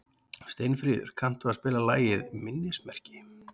Steinfríður, kanntu að spila lagið „Minnismerki“?